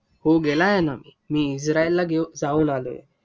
हो. गेला आहे ना, मी इस्राईलला जाऊन आलोय.